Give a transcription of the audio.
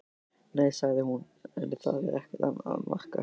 Nei, sagði hún, en það er ekkert að marka.